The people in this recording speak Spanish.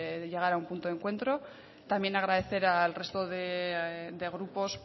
llegar a un punto de encuentro también agradecer al resto de grupos